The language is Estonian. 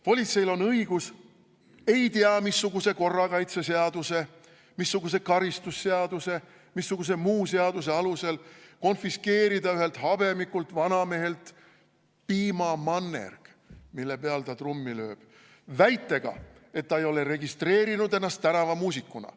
Politseil on õigus ei tea missuguse korrakaitseseaduse, missuguse karistusseaduse, missuguse muu seaduse alusel konfiskeerida ühelt habemikult vanamehelt piimamannerg, mille peal ta trummi lööb, väitega, et ta ei ole registreerinud ennast tänavamuusikuna.